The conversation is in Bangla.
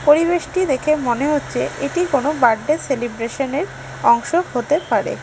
পরিবেশটি দেখে মনে হচ্ছে এটি কোনো বার্থডে সেলিব্রেশনের অংশ হতে পারে।